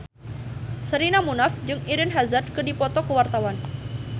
Sherina Munaf jeung Eden Hazard keur dipoto ku wartawan